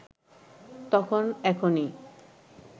তখন এখনি